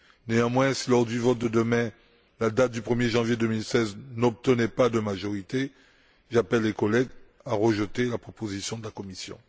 Néanmoins, si lors du vote de demain, la date du 1er janvier 2016 n'obtenait pas de majorité, j'appelle les collègues à rejeter la proposition de la Commission.